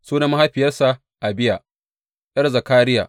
Sunan mahaifiyarsa Abiya, ’yar Zakariya.